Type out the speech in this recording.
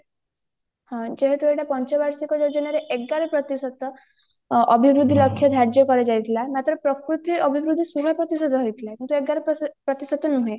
ଯେହେତୁ ଏଇଟା ପଞ୍ଚ ବାର୍ଷିକ ଯୋଜନାରେ ଏଗାର ପ୍ରତିଶତ ଅଭିବୃଦ୍ଧି ଲକ୍ଷ୍ୟ ଧାର୍ଯ୍ୟ କରଯାଇଥିଲା ମାତ୍ର ପ୍ରକୃତି ଅଭିବୃଦ୍ଧି ଶହେ ପ୍ରତିଶତ ହେଇଥିଲା କିନ୍ତୁ ଏଗାର ପ୍ରତିଶତ ନୁହେ